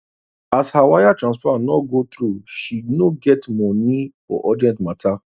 as her wire transfer no go through she no get monei for urgent matter